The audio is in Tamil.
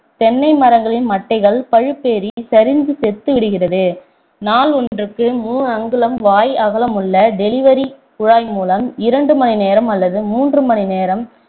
தென்னை மரங்களின் மட்டைகள் பழுப்பேறி சரிந்து செத்து விடுகிறது நாள் ஒன்றுக்கு மூன்று அங்குலம் வாய் அகலமுள்ள delivery குழாய் மூலம் இரண்டு நேரம் அல்லது மூன்று மணி நேரம்